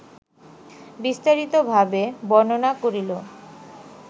বিস্তারিত-ভাবে বর্ণনা করিল